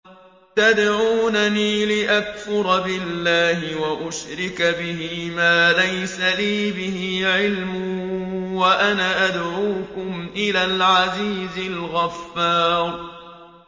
تَدْعُونَنِي لِأَكْفُرَ بِاللَّهِ وَأُشْرِكَ بِهِ مَا لَيْسَ لِي بِهِ عِلْمٌ وَأَنَا أَدْعُوكُمْ إِلَى الْعَزِيزِ الْغَفَّارِ